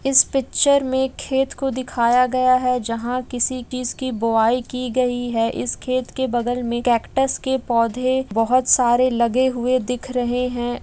इस पिक्चर में खेत को दिखाया गया है जहां किसी चीज़ की बोआई की गयी है इस खेत के बगल मे कैकट्स के पौधे बहुत सारे लगे हुए दिख रहे हैं।